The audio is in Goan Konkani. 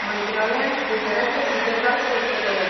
मंत्रालयान ट्विटराचेर ही गजाल स्पष्ट केल्या.